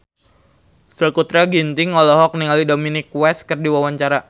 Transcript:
Sakutra Ginting olohok ningali Dominic West keur diwawancara